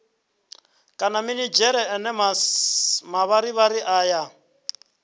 kana minidzhere ane mavharivhari ayo